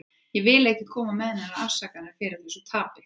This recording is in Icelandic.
Ég vil ekki koma með neinar afsakanir fyrir þessu tapi.